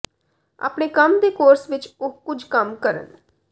ਆਪਣੇ ਕੰਮ ਦੇ ਕੋਰਸ ਵਿਚ ਉਹ ਕੁਝ ਕੰਮ ਕਰਨ